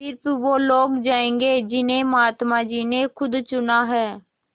स़िर्फ वे लोग जायेंगे जिन्हें महात्मा जी ने खुद चुना है